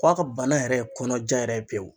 K'a ka bana yɛrɛ kɔnɔjan yɛrɛ ye pewu.